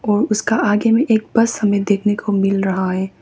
उसका आगे में एक बस हमें देखने को मिल रहा है।